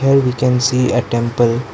here we can see a temple.